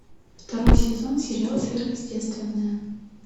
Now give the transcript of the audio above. второй сезон сериал сверхъестественное